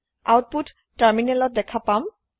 আওতপোত তাৰমিনেলত দেখা পাম